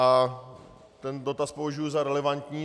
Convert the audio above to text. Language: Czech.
A ten dotaz považuju za relevantní.